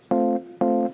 Selge!